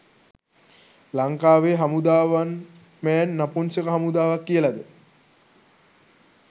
ලංකාවේ හමුදාව one man නපුන්ෂක හමුදාවක් කියලද?